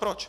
Proč!